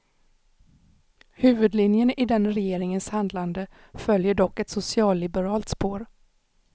Huvudlinjen i den regeringens handlade följer dock ett socialliberalt spår.